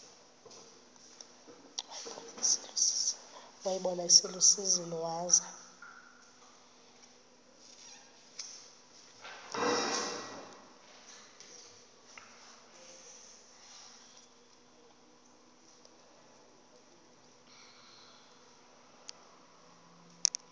wayibona iselusizini waza